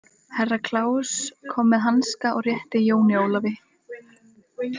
Herra Kláus kom með hanska og rétti Jóni Ólafi.